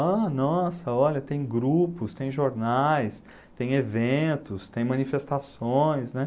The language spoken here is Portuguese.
Ah, nossa, olha, tem grupos, tem jornais, tem eventos, tem manifestações, né?